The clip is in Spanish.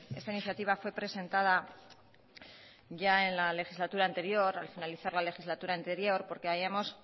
esta iniciativa fue presentada ya al finalizar la legislatura anterior porque habíamos